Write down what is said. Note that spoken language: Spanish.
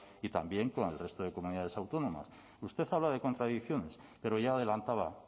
y también con el resto de comunidades autónomas usted habla de contradicciones pero ya adelantaba